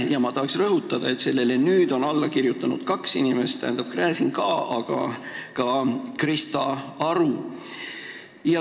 Ja ma tahan rõhutada, et sellele on alla kirjutanud kaks inimest: Igor Gräzin ja Krista Aru.